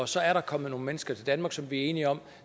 så er der kommet nogle mennesker til danmark som vi er enige om